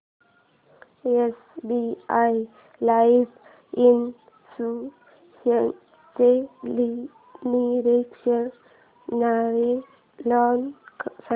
SBI life इन्शुरन्सचे निरनिराळे plan सांग